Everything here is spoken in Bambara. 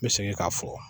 N bɛ segin k'a fɔ